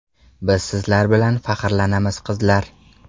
Biz sizlar bilan faxrlanamiz, qizlar!